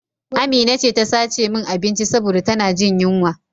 Amina ce ta sace min abinci saboda ta na jin yunwa